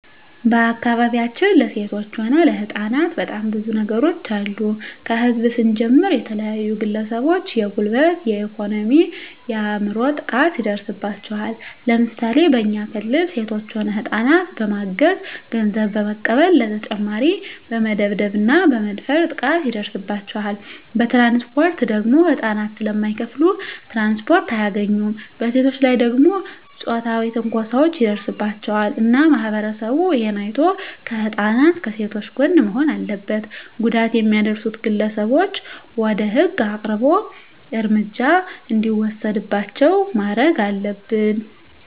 በአካባቢያችን ለሴቶች ሆነ ለህጻናት በጣም ብዙ ነገሮች አሉ ከህዝብ ስንጀምር የተለያዩ ግለሰቦች የጉልበት የኤኮኖሚ የአይምሮ ጥቃት ይደርስባቸዋል ለምሳሌ በኛ ክልል ሴቶች ሆነ ህጻናትን በማገት ገንዘብ በመቀበል በተጨማሪ በመደብደብ እና በመድፈር ጥቃት ይደርስባቸዋል በትራንስፖርት ደግሞ ህጻናት ስለማይከፋሉ ትራንስፖርት አያገኙም በሴቶች ላይ ደግሞ ጾታዊ ትንኮሳዎች ይደርስባቸዋል እና ማህበረሰቡ እሄን አይቶ ከህጻናት ከሴቶች ጎን መሆን አለበት ጉዳት የሚያደርሱት ግለሰቦች ወደ ህግ አቅርቦ እርምጃ እንዲወሰድባቸው ማረግ አለብን